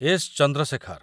S. Chandrashekhar